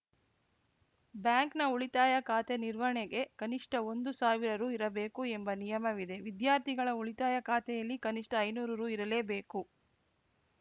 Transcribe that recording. ಬ್ಯಾಂಕ್‌ನ ಉಳಿತಾಯ ಖಾತೆ ನಿರ್ವಹಣೆಗೆ ಕನಿಷ್ಟಒಂದು ಸಾವಿರ ರು ಇರಬೇಕು ಎಂಬ ನಿಯಮವಿದೆ ವಿದ್ಯಾರ್ಥಿಗಳ ಉಳಿತಾಯ ಖಾತೆಯಲ್ಲಿ ಕನಿಷ್ಠ ಐನೂರು ರು ಇರಲೇಬೇಕು